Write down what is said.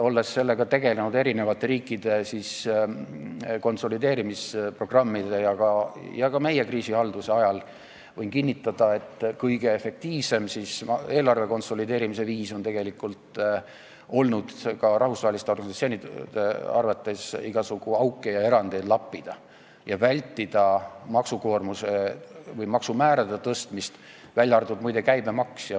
Olles tegelenud eri riikide konsolideerimisprogrammidega ja ka meie kriisihaldusega, võin kinnitada, et kõige efektiivsem eelarve konsolideerimise viis on ka rahvusvaheliste organisatsioonide arvates olnud see, et igasuguseid auke lappida ning vältida maksukoormuse või maksumäärade tõstmist, välja arvatud, muide, käibemaks.